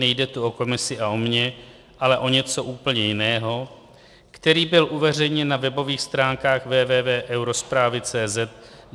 Nejde tu o komisi a o mě, ale o něco úplně jiného', který byl uveřejněn na webových stránkách www.eurozpravy.cz